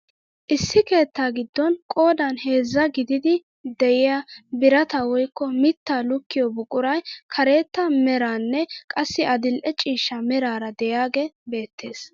Issi keettaa giddon qoodan heezzaa gididi de'iyaa birataa woykko mittaa lukkiyoo buquray karetta meraaranne qassi adil'e ciishsha meraara de'iyaagee beettees!